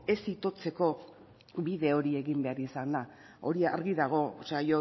ez itotzeko bide hori egin behar izana hori argi dago o sea